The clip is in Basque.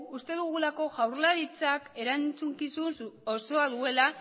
uste dugulako jaurlaritzak erantzukizun osoa duela